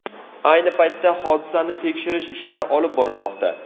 Ayni paytda hodisani tekshirish ishlari olib borilmoqda.